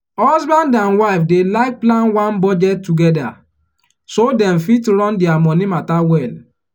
husband and wife dey like plan one budget together so dem fit run their money matter well.